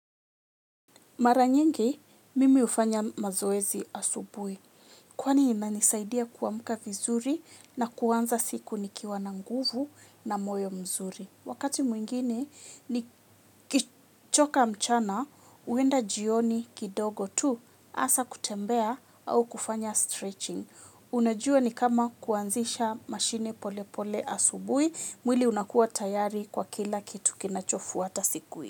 Mara nyingi, mimi hufanya mazoezi asubui. Kwani inanisaidia kuamka vizuri na kuanza siku nikiwa na nguvu na moyo mzuri. Wakati mwingine, nikichoka mchana, huenda jioni kidogo tu, hasa kutembea au kufanya stretching. Unajua ni kama kuanzisha mashine pole pole asubuhi, mwili unakuwa tayari kwa kila kitu kinachofuata siku.